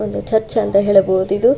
ಓದು ಚರ್ಚ್ ಅಂತ ಹೇಳಬಹುದು ಇದು.